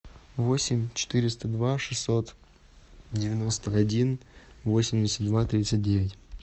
восемь четыреста два шестьсот девяносто один восемьдесят два тридцать девять